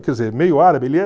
Quer dizer, meio árabe